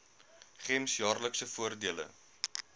gems jaarlikse voordele